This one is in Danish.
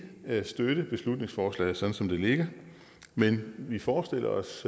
støtte beslutningsforslaget sådan som det ligger men vi forestiller os